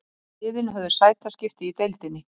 Liðin höfðu sætaskipti í deildinni